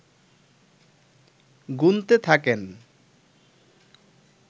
গুনতে থাকেন